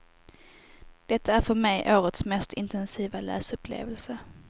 Detta är för mig årets mest intensiva läsupplevelse.